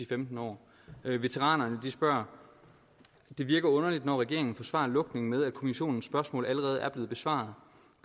femten år veteranerne spørger det virker underligt når regeringen forsvarer lukningen med at kommissionens spørgsmål allerede er blevet besvaret